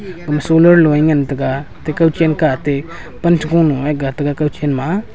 gama solar lo nge ngan tega ate kau chen kah ate pan che go lo ga tega kau chen ma.